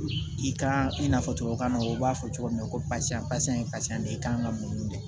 I kan i n'a fɔ tubabukan na u b'a fɔ cogo min na ko barisa basan ye pasa de ye i kan ka mun de kɛ